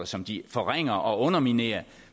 som de forringer og underminerer